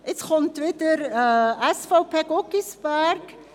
Nun zum Antrag SVP/Guggisberg.